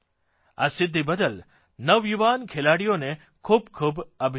આ સિદ્ધિ બદલ નવયુવાન ખેલાડીઓને ખૂબ ખૂબ અભિનંદન